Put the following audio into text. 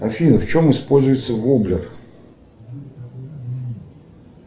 афина в чем используется воблер